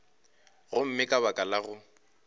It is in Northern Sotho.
gomme ka baka la go